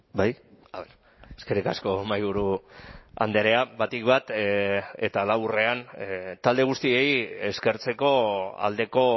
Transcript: bai eskerrik asko mahaiburu andrea batik bat eta laburrean talde guztiei eskertzeko aldeko